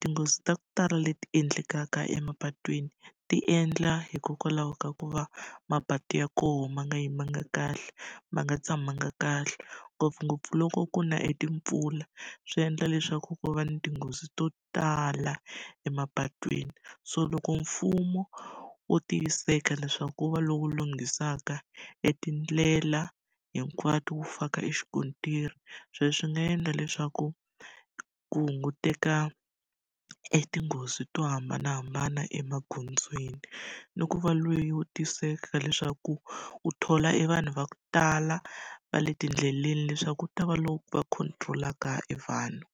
tinghozi ta ku tala leti endlekaka emapatwini ti endla hikokwalaho ka ku va mapatu ya koho ma nga yimanga kahle, ma nga tshamanga kahle. Ngopfungopfu loko ku na etimpfula swi endla leswaku ku va ni tinghozi to tala emapatwini. So loko mfumo wo tiyisiseka leswaku wu va lowu lunghisaka etindlela hinkwato wu faka exikontiri, sweswo swi nga endla leswaku ku hunguteka etinghozi to hambanahambana emagondzweni. Ni ku va lowu wo tiyisiseka leswaku wu thola evanhu va ku tala va le tindleleni leswaku ku ta va lava va control-aka evanhu.